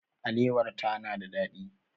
Alewar ta na da ɗadi.